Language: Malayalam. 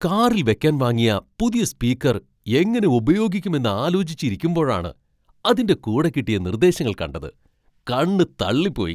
കാറിൽ വെക്കാൻ വാങ്ങിയ പുതിയ സ്പീക്കർ എങ്ങനെ ഉപയോഗിക്കും എന്ന് ആലോചിച്ചിരിക്കുമ്പോഴാണ് അതിൻ്റെ കൂടെ കിട്ടിയ നിർദ്ദേശങ്ങൾ കണ്ടത്, കണ്ണു തള്ളിപ്പോയി.